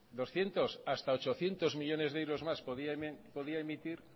doscientos hasta ochocientos millónes de euros más podía emitir